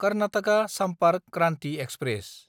Karnataka Sampark Kranti express